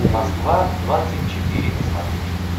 москва двадцать четыре на смотрешке